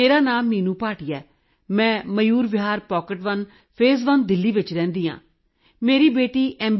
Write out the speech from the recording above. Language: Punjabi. ਮੇਰਾ ਨਾਂ ਮੀਨੂੰ ਭਾਟੀਆ ਹੈ ਮੈਂ Mayur Vihar pocket one phase Delhi ਵਿਖੇ ਰਹਿੰਦੀ ਹਾਂ ਮੇਰੀ ਬੇਟੀ ਐੱਮ